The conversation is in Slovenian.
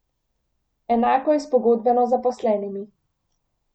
Enako je s pogodbeno zaposlenimi.